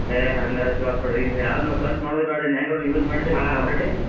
ಏ ಹಂಗಾದ್ರ್ ಛಲೋ ಆತ್ ಬಿಡ್ರಿ ಇನ್ ಯಾವ್ದ್ ನಾವ್ search ಮಾಡುದ್ ಬ್ಯಾಡ್ ಇನ್, ಹೆಂಗಾದ್ರೂ ನೀವ್ use ಮಾಡಿದಿರಿ already